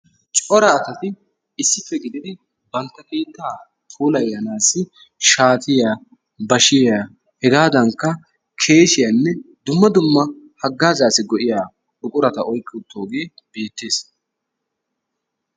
Cora asati issippe gididi bantta keetta puulayanaassi shaatiya, bashiya hegadankka keeshiyanne dumma dumma haggaazzaassi go''iya buqurata oyqqi uttooge beettees.